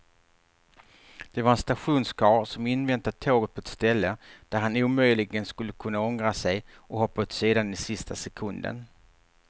Det var en stationskarl som inväntat tåget på ett ställe där han omöjligen skulle kunna ångra sig och hoppa åt sidan i sista sekunden.